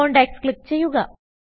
contacts click ചെയ്യുക